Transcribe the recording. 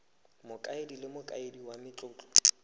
mokaedi le mokaedi wa matlotlo